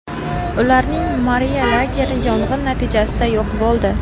Ularning Moriya lageri yong‘in natijasida yo‘q bo‘ldi.